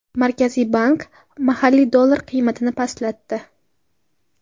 Markaziy bank mahalliy dollar qiymatini pastlatdi.